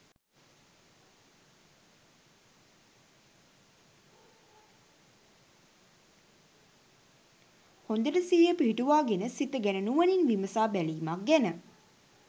හොඳට සිහිය පිහිටුවාගෙන සිත ගැන නුවණින් විමසා බැලීමක් ගැන.